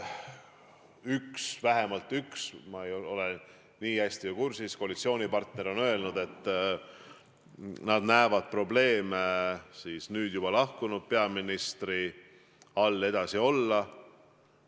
Üks – vähemalt üks, ma ei ole nii hästi kursis – koalitsioonipartner on öelnud, et nad näevad probleeme, kui tuleks nüüd juba lahkunud peaministri käe all edasi koalitsioonis olla.